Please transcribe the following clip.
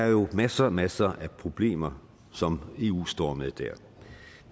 jo masser og masser af problemer som eu står med